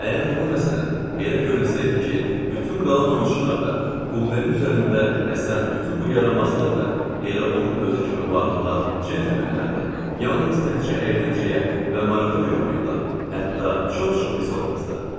Əgər ona, məsələn, elə görünsəydi ki, bütün qalan oyunçular da Qoldenin üzərində əsən bütün bu yaramazlar da elə onun özü kimi varlılar, centlmenlərdir, yalnız təkcə əyləncəyə və marağa görə oynayırlar, hətta çox-çox pis olmazdı.